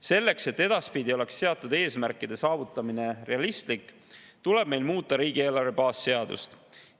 Selleks, et edaspidi oleks seatud eesmärkide saavutamine realistlik, tuleb meil muuta riigieelarve baasseadust.